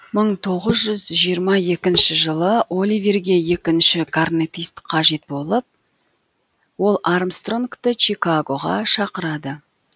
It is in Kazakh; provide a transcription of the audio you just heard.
мың тоғыз жүз жиырма екінші жылы оливерге екінші корнетист қажет болып ол армстронгты чикагоға шақырады